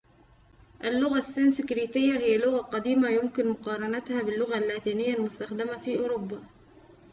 اللغة السنسكريتية هي لغةٌ قديمةٌ ويمكن مقارنتها باللغة اللاتينية المستخدمة في أوروبا